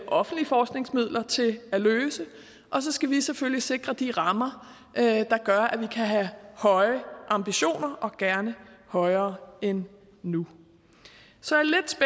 offentlige forskningsmidler til at løse og så skal vi selvfølgelig sikre de rammer der gør at vi kan have høje ambitioner og gerne højere end nu så